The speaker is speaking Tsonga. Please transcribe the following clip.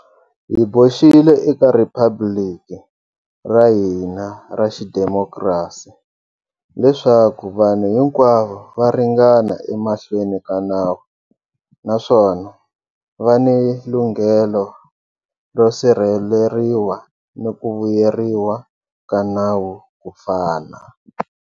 Hi boxile eka rhiphabiliki ra hina ra xidemokirasi, leswaku vanhu hinkwavo va ringana emahlweni ka nawu naswona va ni lunghelo ro sirheleriwa ni ku vuyeriwa ka nawu ku fana.